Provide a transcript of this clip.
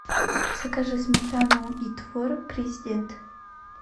закажи сметану и творог президент